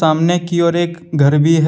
सामने की ओर एक घर भी है।